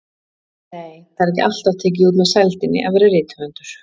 Nei, það er ekki alltaf tekið út með sældinni að vera rithöfundur.